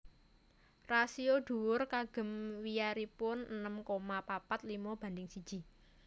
Rasio dhuwur kagem wiyaripun enem koma papat limo banding siji